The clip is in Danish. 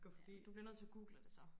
ja du bliver nødt til at google det så